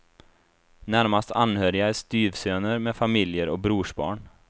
Närmast anhöriga är styvsöner med familjer och brorsbarn.